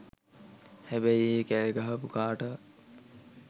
හැබැයි ඒ කෑගහපු කාටවත්